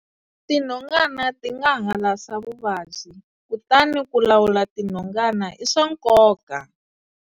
Tinhongana ti nga halasa vuvabyi, kutani ku lawula tinhongana i swa nkoka.